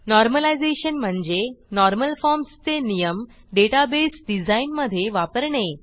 normalisation म्हणजे normal forms चे नियम डेटाबेस डिझाईनमधे वापरणे